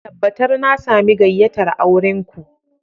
Tabbatar na sami gayyatar auren ku